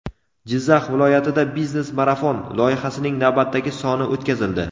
Jizzax viloyatida "Biznes marafon" loyihasining navbatdagi soni o‘tkazildi;.